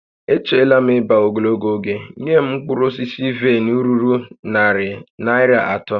E cheela m ebe a ogologo oge, nye m mkpụrụ vaịn ruru narị Naịra atọ!